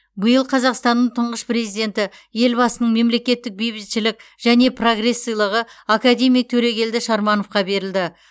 биыл қазақстанның тұңғыш президенті елбасының мемлекеттік бейбітшілік және прогресс сыйлығы академик төрегелді шармановқа берілді